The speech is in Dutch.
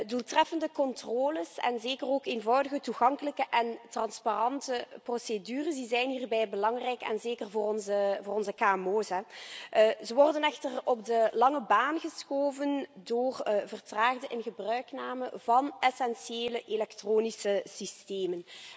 Doeltreffende controles en zeker ook eenvoudige, toegankelijke en transparante procedures zijn hierbij belangrijk, en zeker voor onze kmo's. Ze worden echter op de lange baan geschoven door vertraagde ingebruikname van essentiële elektronische systemen.